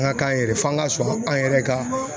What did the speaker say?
An ka k'an yɛrɛ ye f'an ka sɔn an yɛrɛ ka